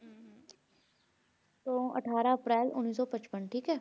ਤੋਂ ਅਠਾਰਾਂ ਅਪ੍ਰੈਲ ਉੱਨੀ ਸੌ ਪਚਪਨ ਠੀਕ ਹੈ।